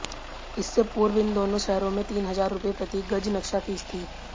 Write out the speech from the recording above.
इससे पूर्व इन दोनों शहरों में तीन हजार रूपये प्रति गज नक्शा फीस थी